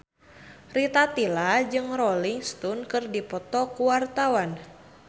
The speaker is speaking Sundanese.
Rita Tila jeung Rolling Stone keur dipoto ku wartawan